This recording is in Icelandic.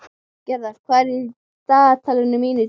Gerðar, hvað er í dagatalinu mínu í dag?